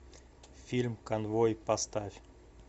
фильм конвой поставь